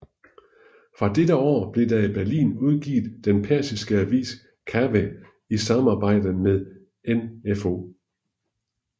Fra dette år blev der i Berlin udgivet den persiske avis Kaweh i samarbejde med med NfO